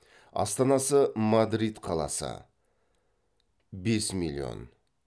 астанасы мадрид қаласы